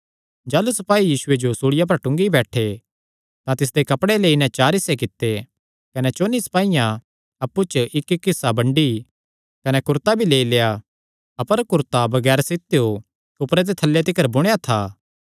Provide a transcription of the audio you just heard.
जाह़लू सपाई यीशुये जो सूल़िया पर टूंगी बैठे तां तिसदे कपड़े लेई नैं चार हिस्से कित्ते कने चौंन्नी सपाईयां अप्पु च इक्कइक्क हिस्सा बंडी कने कुरता भी लेआ अपर कुरता बगैर सित्तेयो ऊपरे ते थल्लै तिकर बुणेया था